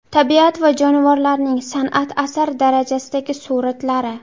Tabiat va jonivorlarning san’at asari darajasidagi suratlari.